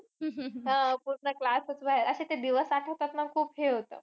अह पूर्ण class च बाहेर. अशे ते दिवस आठवतात ना, खूप हे होतं.